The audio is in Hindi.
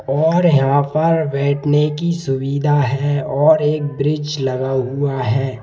और यहां पर बैठने की सुविधा हैऔर एक ब्रिज लगा हुआ है।